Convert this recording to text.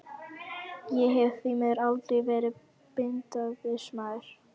Ég hef því miður aldrei verið bindindismaður.